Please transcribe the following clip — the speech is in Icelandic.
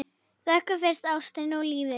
Þökkum fyrir ástina og lífið.